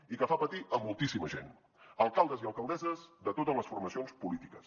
i que fa patir a moltíssima gent alcaldes i alcaldesses de totes les formacions polítiques